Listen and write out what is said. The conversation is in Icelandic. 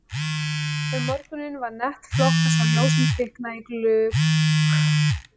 Um morguninn var nett flott að sjá ljósin kvikna í glugg